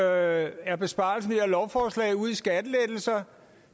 er besparelsen ved lovforslag ud på skattelettelser